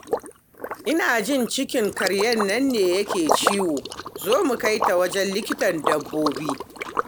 Ina jin cikin karyar nan ne yake ciwo, zo mu kai ta wajen Likitan Dabbobi